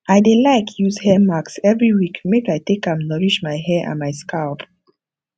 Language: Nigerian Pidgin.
i dey like use hair mask every week make i take am nourish my hair and my scalp